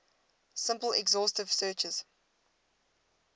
simple exhaustive searches